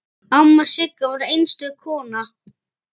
Amma Sigga var einstök kona.